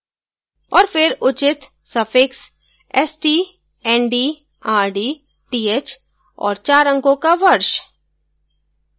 और फिर उचित suffixst nd rd th और चार अंको का वर्ष